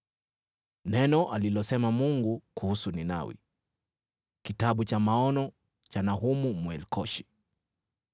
Neno alilosema Mungu kuhusu Ninawi. Kitabu cha maono cha Nahumu, Mwelkoshi.